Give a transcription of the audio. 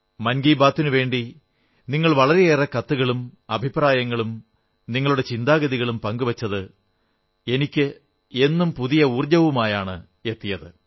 മൻ കീ ബാത്തിനുവേണ്ടി നിങ്ങൾ വളരെയേറെ കത്തുകളും അഭിപ്രായങ്ങളും നിങ്ങളുടെ ചിന്താഗതികളും പങ്കുവച്ചത് എന്നും പുതിയ ഊർജ്ജവുമായാണ് എന്നിലേക്ക് എത്തിയത്